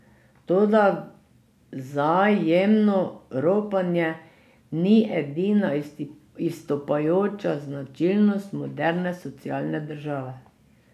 Toda vzajemno ropanje ni edina izstopajoča značilnost moderne socialne države.